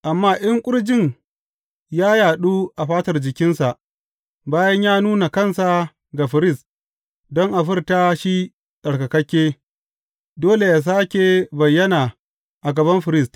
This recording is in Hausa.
Amma in ƙurjin ya yaɗu a fatar jikinsa bayan ya nuna kansa ga firist don a furta shi tsarkake, dole yă sāke bayyana a gaban firist.